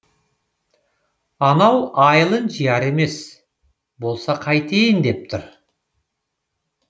анау айылын жияр емес болса қайтейін деп тұр